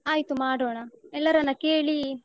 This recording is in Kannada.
ಆಯ್ತು ಮಾಡೋಣ. ಎಲ್ಲರನ್ನ ಕೇಳಿ.